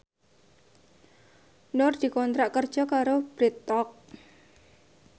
Nur dikontrak kerja karo Bread Talk